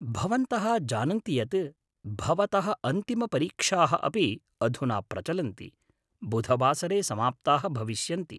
भवन्तः जानन्ति यत् भवतः अन्तिमपरीक्षाः अपि अधुना प्रचलन्ति, बुधवासरे समाप्ताः भविष्यन्ति।